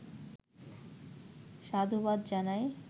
সাধুবাদ জানাই।